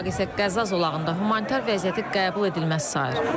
Avropa İttifaqı isə Qəzza zolağında humanitar vəziyyəti qəbul edilməz sayır.